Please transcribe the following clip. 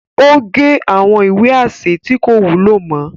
O ge awọn ìwé aṣẹ tí ko wúlò mọ